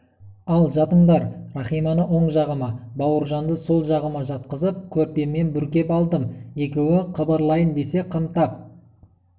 ал жатыңдар рахиманы оң жағыма бауыржаңды сол жағыма жатқызып көрпеммен бүркеп алдым екеуі қыбырлайын десе қымтап